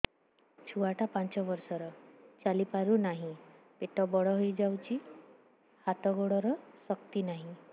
ଛୁଆଟା ପାଞ୍ଚ ବର୍ଷର ଚାଲି ପାରୁନାହଁ ପେଟ ବଡ ହୋଇ ଯାଉଛି ହାତ ଗୋଡ଼ର ଶକ୍ତି ନାହିଁ